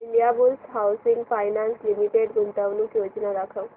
Indiabulls Housing Finance Limited गुंतवणूक योजना दाखव